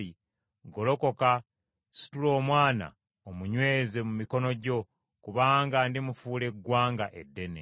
Golokoka, situla omwana omunyweze mu mikono gyo, kubanga ndimufuula eggwanga eddene.”